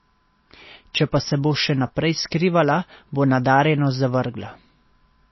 Če pa se bo še naprej skrivala, bo nadarjenost zavrgla.